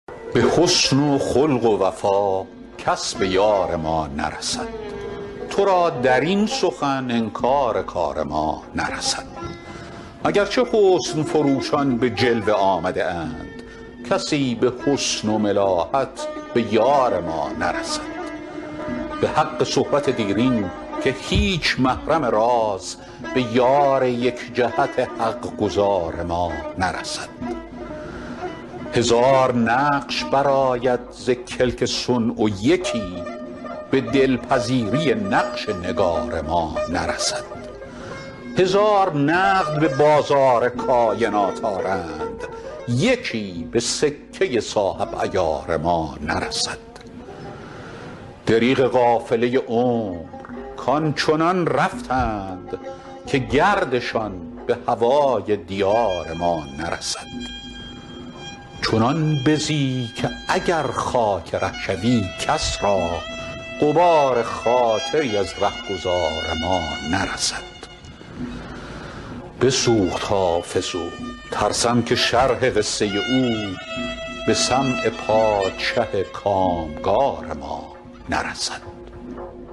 به حسن و خلق و وفا کس به یار ما نرسد تو را در این سخن انکار کار ما نرسد اگر چه حسن فروشان به جلوه آمده اند کسی به حسن و ملاحت به یار ما نرسد به حق صحبت دیرین که هیچ محرم راز به یار یک جهت حق گزار ما نرسد هزار نقش برآید ز کلک صنع و یکی به دل پذیری نقش نگار ما نرسد هزار نقد به بازار کاینات آرند یکی به سکه صاحب عیار ما نرسد دریغ قافله عمر کآن چنان رفتند که گردشان به هوای دیار ما نرسد دلا ز رنج حسودان مرنج و واثق باش که بد به خاطر امیدوار ما نرسد چنان بزی که اگر خاک ره شوی کس را غبار خاطری از ره گذار ما نرسد بسوخت حافظ و ترسم که شرح قصه او به سمع پادشه کام گار ما نرسد